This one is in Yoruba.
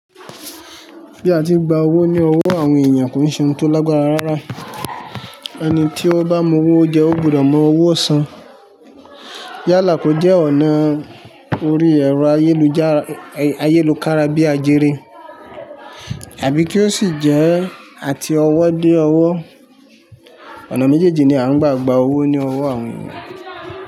Bí a ti ń gba owó ní owó àwọn èyàn kò n ṣe ohun tó lágbára rárá. Ẹni tí ó bá mu owó jẹ ó gbọdọ̀ mọ owó ọ̀sán. Yálà kò jẹ́ ọ̀nà orí ẹ̀rọ ayélujára, ayélòkára bíi àjẹrí àbí kí ó sì jẹ́ àti ọwọ́ dé ọwọ́. Ọ̀nà méjèèjì ni a ń gbà gba owó ní owó àwọn ènìyàn.